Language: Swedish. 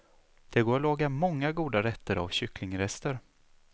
Det går att laga många goda rätter av kycklingrester.